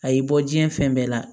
A y'i bɔ diɲɛ fɛn bɛɛ la